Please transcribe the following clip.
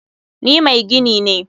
Ni mai gini ne.